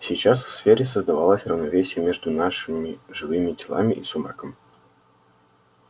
сейчас в сфере создавалось равновесие между нашими живыми телами и сумраком